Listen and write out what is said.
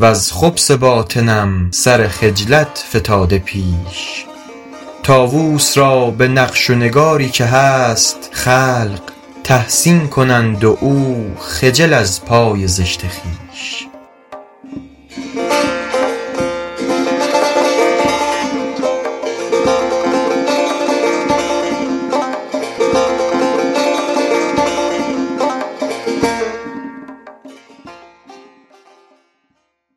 وز خبث باطنم سر خجلت فتاده پیش طاووس را به نقش و نگاری که هست خلق تحسین کنند و او خجل از پای زشت خویش